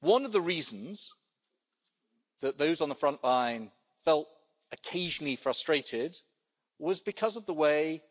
One of the reasons that those on the front line felt occasionally frustrated was because of the way